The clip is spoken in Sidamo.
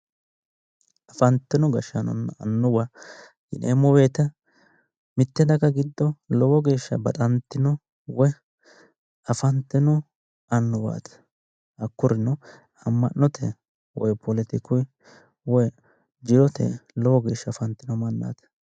afantino gashshaanonna annuwa yineemmo wote mitte daga giddo lowo geeshsha baxantino woyi afantino annuwaati hakkurino amma'note woyi poletikunni woyi jirotenni lowo geeshshsha afantino mannaati.